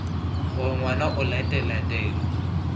gore ngwana o latela taelo